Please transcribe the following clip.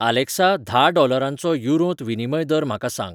Alexa धा डॉलरांचो युरोंत विनिमय दर म्हाका सांग